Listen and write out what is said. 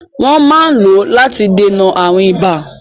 Wọ́n máa ń lò ó láti dènà àrùn ibà.